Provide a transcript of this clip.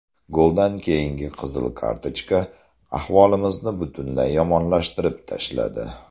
Goldan keyingi qizil kartochka ahvolimizni butunlay yomonlashtirib tashladi.